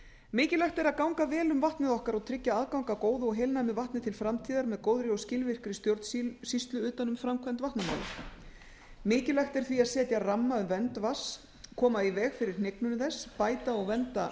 mikilvægt er að ganga vel um vatnið okkar og tryggja aðgang að góðu og heilnæmu vatni til framtíðar með góðri og skilvirkri stjórnsýslu utan um framkvæmd vatnamála mikilvægt er því að setja ramma um vernd vatns koma í veg fyrir hnignun þess bæta og vernda